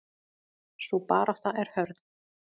Sú barátta er hörð.